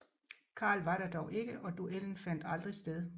Karl var der dog ikke og duellen fandt aldrig sted